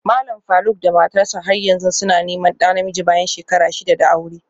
Malam Faruk da matarsa ​​har yanzu suna neman ɗa namiji bayan shekara shida da aure